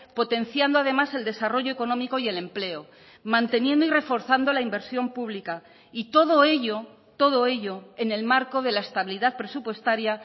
potenciando además el desarrollo económico y el empleo manteniendo y reforzando la inversión pública y todo ello todo ello en el marco de la estabilidad presupuestaria